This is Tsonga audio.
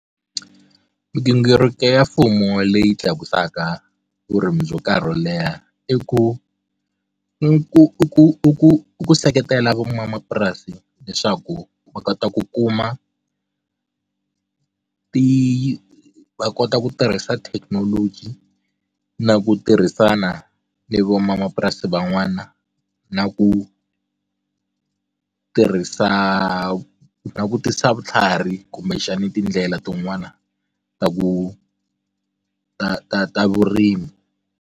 Migingiriko ya mfumo leyi tlakusaka vurimi byo karhi wo leha i ku i ku ku ku ku seketela van'wamapurasi leswaku va kota ku kuma ti va kota ku tirhisa thekinoloji na ku tirhisana ni van'wamapurasi van'wana na ku ku tirhisa langutisa vutlhari kumbexani tindlela tin'wana ta ku ta ta ta vurimi.